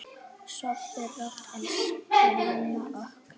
Sofðu rótt, elsku amma okkar.